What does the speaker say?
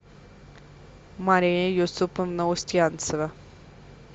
мария юсуповна устьянцева